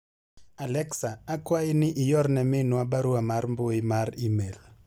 Alexa akwayi ni iorne minwa barua mar mbui mar email